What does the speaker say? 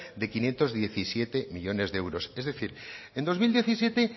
de quinientos diecisiete millónes de euros es decir en dos mil diecisiete